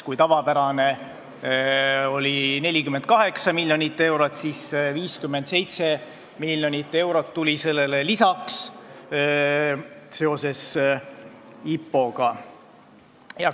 Kui tavapärane summa oli 48 miljonit eurot, siis seoses IPO-ga tuli sellele lisaks 57 miljonit eurot.